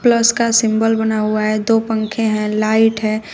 उसका सिंबल बना हुआ है दो पंखे हैं लाइट है।